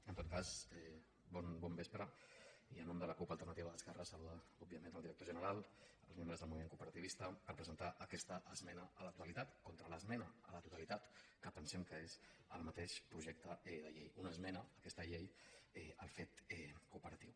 en tot cas bon vespre i en nom de la cup alternativa d’esquerres saludar òbviament el director general els membres del moviment cooperativista per presentar aquesta esmena a la totalitat contra l’esmena a la totalitat que pensem que és el mateix projecte de llei una esmena aquesta llei al fet cooperatiu